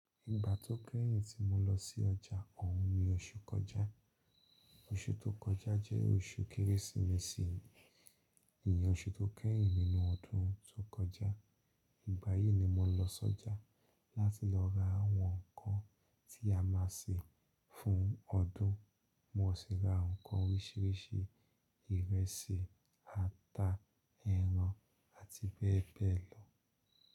Ìgbà tó kẹ́yìn tí mo lọ sí ọjà, òun ni oṣù kọjá. Oṣù tó kọjá jẹ́ oṣù Kérésìmesì, ìyen oṣù tó kẹ́yìn nínú ọdún tó kọjá. Ìgbà yìí ni mo lọ sójà láti lọ ra àwọn nǹkan tí a máa sè fún ọdún. Mo sì ra nǹkan oríṣiríṣi, ìrẹsì, ata, ẹran, àti bẹ́ẹ̀ bẹ́ẹ̀ lọ.